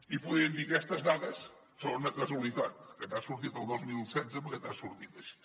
i podrien dir aquestes dades són una casualitat que t’ha sortit el dos mil setze perquè t’ha sortit així